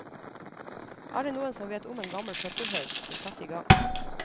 Er det noen som vet om en gammel søppelhaug, så sett i gang.